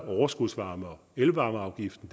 overskudsvarme og elvarmeafgiften